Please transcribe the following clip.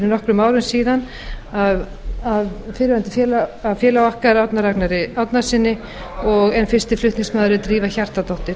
nokkrum árum síðan af félaga okkar árna ragnari árnasyni en fyrsti flutningsmaður er drífa hjartardóttir